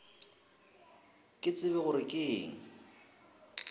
ke tsebe gore ke eng